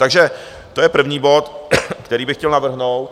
Takže to je první bod, který bych chtěl navrhnout.